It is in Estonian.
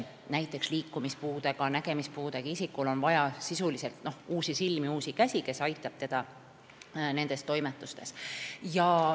Näiteks liikumis- ja nägemispuudega isikul on vaja sisuliselt uusi silmi ja uusi käsi, mis aitavad teda nendes toimetustes.